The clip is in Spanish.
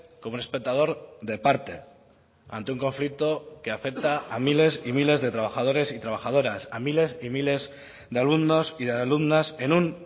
como un espectador de parte ante un conflicto que afecta a miles y miles de trabajadores y trabajadoras a miles y miles de alumnos y de alumnas en un